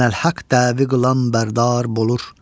Ənəl Haq dəvi qılan bərdar bolur.